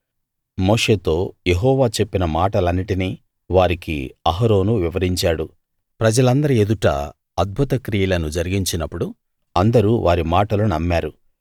మోషేతో యెహోవా చెప్పిన మాటలన్నిటినీ వారికి అహరోను వివరించాడు ప్రజలందరి ఎదుటా అద్భుత క్రియలను జరిగించినప్పుడు అందరూ వారి మాటలు నమ్మారు